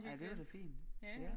Ej det var da fint ja